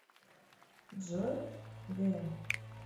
джой гм